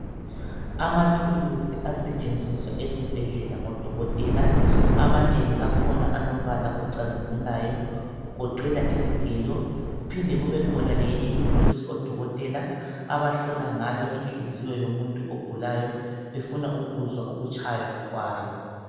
Amathulusi asetshenziswa esibhedlela ngodokotela. Amanengi akhona alombala ocazimulayo kugoqela izigelo kuphinde kube khona leyinye ithulusi odokotela abahlola ngayo inhliziyo yomuntu ogulayo befuna ukuzwa ukutshaya kwayo.